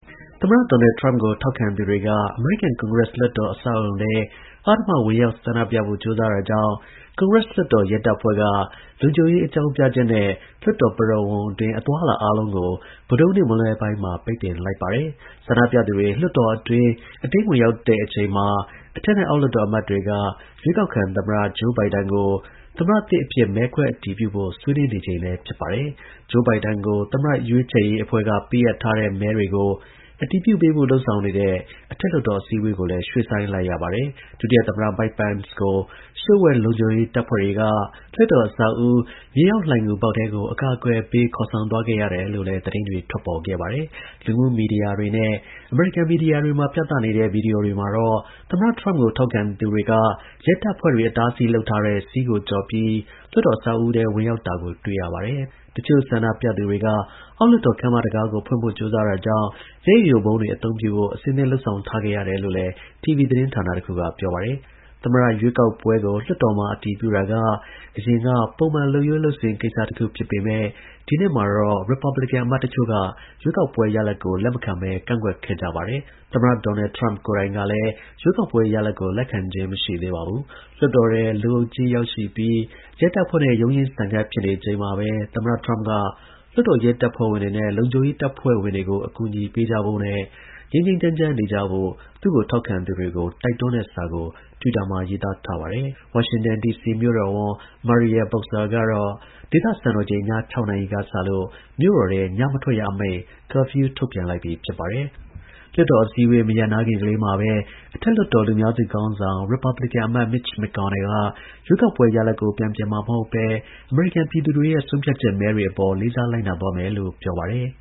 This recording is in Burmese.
သမ္မတ ဒေါ်နယ် ထရမ့်ကို ထောက်ခံသူတွေက အမေရိကန်ကွန်ဂရက်လွှတ်တော်အဆောက်အအုံထဲ အဓမ္မဝင်ရောက်ဆန္ဒပြဖို့ကြိုးစား တာကြောင့် ကွန်ဂရက် လွှတ်တော် ရဲတပ်ဖွဲ့က လုံခြုံရေး အကြောင်းပြချက်နဲ့ လွှတ်တော် ပရဝုဏ်အတွင်း အသွားအလာ အားလုံးကို ဗုဒ္ဓဟူးနေ့ မွန်းလွဲပိုင်းမှာ ပိတ်ပင်လိုက်ပါတယ်။ ဆန္ဒပြသူတွေ လွှတ်တော်အတွင်း အတင်း ဝင်ရောက်တဲ့အချိန်မှာ အထက်နဲ့ အောက် လွှတ်တော် အမတ်တွေက ရွေးကောက်ခံ သမ္မတ Joe Biden ကို သမ္မတသစ်အဖြစ် မဲတွေကို အတည်ပြုဖို့ ဆွေးနွေးနေ ချိန်လည်း ဖြစ် ပါတယ်။ Joe Biden ကို သမ္မတရွေးချယ်ရေးအဖွဲ့က ပေးအပ်ထားတဲ့ မဲတွေကို အတည်ပြုပေးဖို့ လုပ်ဆောင်နေတဲ့ အထက်လွှတ်တော် အစည်း အဝေးကိုလည်း ရွှေ့ဆိုင်းလိုက်ရပါတယ်။ ဒုတိယသမ္မတ Mike Pence ကို လျှို့ဝှက်လုံခြုံရေးတပ်ဖွဲ့တွေကအဆောက်အဦးမြေအောက် လှိုဏ်ဂူပေါက်ထဲကို အကာအကွယ်ပေး ခေါ်ဆောင်သွားခဲ့ရတယ်လို့လည်း သတင်းတွေ ထွက်ပေါ်ခဲ့ပါတယ်။ လူမှုမီဒီယာတွေနဲ့ အမေရိကန် မီဒီယာတွေမှာ ပြသနေတဲ့ ဗွီဒီယိုတွေမှာတော့ သမ္မတ ထရမ့်ကို ထောက်ခံသူတွေက ရဲတပ်ဖွဲ့တွေ အတားအဆီးလုပ်ထားတဲ့ စည်းကို ကျော်ပြီး လွှတ်တော် အဆောက်အဦးထဲ ဝင်ရောက်တာကို တွေ့ရပါတယ်။ တစ်ချို့ ဆန္ဒပြသူတွေ က အောက်လွှတ်တော် ခန်းမတံခါးကို ဖွင့်ဖို့ ကြိုးစားတာကြောင့် မျက်ရည်ယိုဗုံးတွေ အသုံးပြုဖို့ အဆင့်သင့် လုပ်ဆောင် ထားခဲ့ရ တယ် လို့လည်း တီဗီ သတင်းဌာန တစ်ခုက ပြောပါတယ်။ သမ္မတ ရွေးကောက်ပွဲကို လွှတ်တော်မှာ အတည်ပြုတာက အရင်က ပုံမှန် လုပ်ရိုးလုပ်စဉ် ကိစ္စတစ်ခု ဖြစ်ပေမယ့် ဒီနှစ်မှာတော့ ရစ်ပတ်ဘလင်ကန် အမတ်တစ်ချို့က ရွေးကောက်ပွဲ ရလဒ်ကို လက်မခံဘဲ ကန့်ကွက်ခဲ့ကြပါတယ်။ သမ္မတ ဒေါ်နယ် ထရမ့်ကိုယ်တိုင်ကလည်း ရွေးကောက်ပွဲ ရလဒ်ကို လက်ခံခြင်း မရှိသေးပါဘူး။ လွှတ်တော်ထဲ လူအုပ်ကြီး ရောက်ရှိပြီး ရဲတပ်ဖွဲ့နဲ့ ရုန်းရင်းဆန်ခတ်ဖြစ်ချိန်မှာပဲ သမ္မတ ထရမ့်က လွှတ်တော် ရဲတပ်ဖွဲ့ဝင် တွေနဲ့ လုံခြုံရေးတပ်ဖွဲ့တွေကို အကူအညီပေးကြဖို့ ငြိမ်းငြိမ်းချမ်းချမ်းနေကြဖို့ သူ့ကို ထောက်ခံသူတွေကို တိုက်တွန်းတဲ့စာကို တွစ်တာမှာ ရေးသားထားပါတယ်။ ဝါရှင်တန် ဒီစီ မြို့တော်ဝန် ကတော့ ဒေသစံတော်ချိန် ည ၆ နာရီကစလို့ မြို့တော်ထဲ ညမထွက်ရအမိန် curfewထုတ်ပြန်လိုက်ပြီ ဖြစ်ပါတယ်။ လွှတ်တော်အစည်းအဝေး မရပ်နားခင်ကလေးမှာပဲ အထက်လွှတ်တော် လူများစု ခေါင်းဆောင် က ရွေးကောက်ပွဲ ရလဒ်ကို ပြန်ပြင် မှာ မဟုတ်ဘဲ အမေရိကန် ပြည်သူတွေရဲ့ ဆုံးဖြတ်ချက် မဲတွေအပေါ် လေးစား လိုက်နာသွားမယ်လို့ ပြောပါတယ်